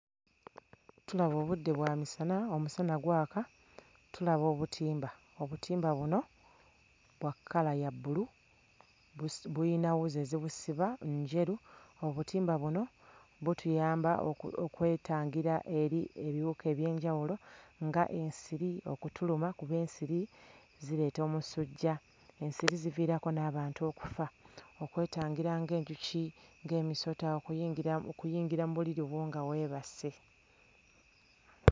Tulaba obudde bwa misana omusana gwaka tulaba obutimba, obutimba buno bwa kkala ya bbulu busi buyina wuzi ezibusiba njeru. Obutimba buno butuyamba oku okwetangira eri ebiwuka eby'enjawulo nga ensiri okutuluma kuba ensiri zireeta omusujja ensiri ziviirako n'abantu okufa okwetangira ng'enjuki ng'emisota okuyingira okuyingira mu buliri bwo nga weebase.